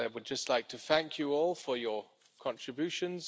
I would just like to thank you all for your contributions.